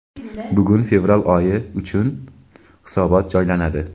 Bugun fevral oyi uchun hisobot joylanadi.